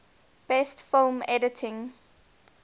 best film editing